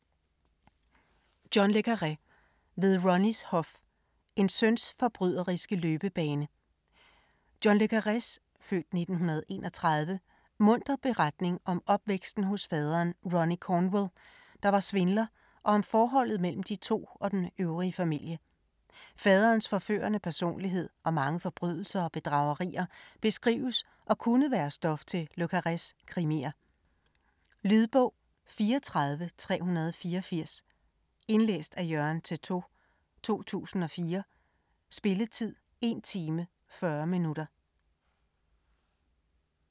Le Carré, John: Ved Ronnies hof: en søns forbryderiske løbebane John le Carrés (f. 1931) muntre beretning om opvæksten hos faderen Ronnie Cornwell, der var svindler og om forholdet mellem de to og den øvrige familie. Faderens forførende personlighed og mange forbrydelser og bedragerier beskrives og kunne være stof til Le Carrés krimier. Lydbog 34384 Indlæst af Jørgen Teytaud, 2004. Spilletid: 1 time, 40 minutter.